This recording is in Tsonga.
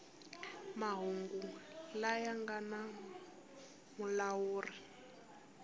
mahungu laya nga na mulawuri